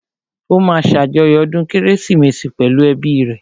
Ó máa ṣàjọyọ̀ ọdún kérésìmesì pẹ̀lú ẹ́bi rẹ̀